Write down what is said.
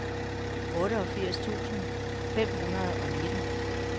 otteogfirs tusind fem hundrede og nitten